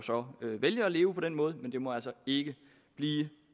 vælge at leve på den måde men det må altså ikke blive